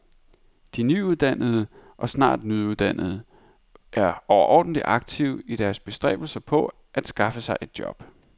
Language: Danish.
De nyuddannede og snart nyuddannede er overordentlig aktive i deres bestræbelser på at skaffe sig et job.